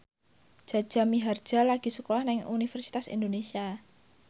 Jaja Mihardja lagi sekolah nang Universitas Indonesia